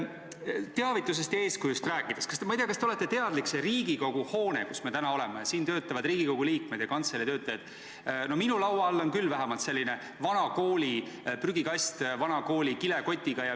Ma ei tea, kas te olete teadlik, et Riigikogu hoones, kus töötavad Riigikogu liikmed ja kantselei töötajad – no minu laua all on küll selline vana kooli prügikast vana kooli kilekotiga.